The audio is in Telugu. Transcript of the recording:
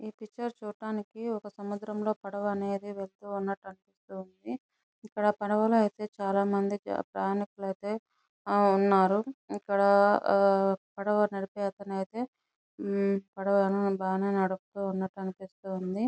ఈ పిక్చర్ చూడటానికి సముద్రంలో పడవ అనేది వెళ్తున్నట్టు అనిపిస్తుంది ఇక్కడ పడవలో అయితే చాల మంది ప్రయాణికులు అయితే ఆహ్ ఉన్నారు ఇక్కడ ఆహ్ అహ్మ పడవ నడిపే అతనైతే హమ్ పడవ బాగా నే నడిస్పిస్తున్నటు అనిపిస్తుంది.